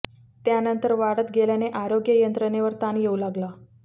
त्यानंतर वाढत गेल्याने आरोग्य यंत्रणेवर ताण येऊ लागला